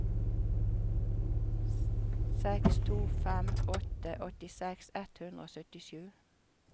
seks to fem åtte åttiseks ett hundre og syttisju